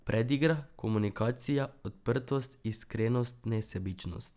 Predigra, komunikacija, odprtost, iskrenost, nesebičnost ...